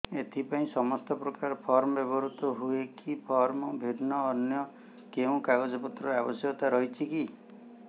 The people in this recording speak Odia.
ଏଥିପାଇଁ ସମାନପ୍ରକାର ଫର୍ମ ବ୍ୟବହୃତ ହୂଏକି ଫର୍ମ ଭିନ୍ନ ଅନ୍ୟ କେଉଁ କାଗଜପତ୍ରର ଆବଶ୍ୟକତା ରହିଛିକି